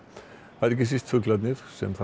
það eru ekki síst fuglarnir sem